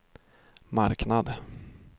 marknad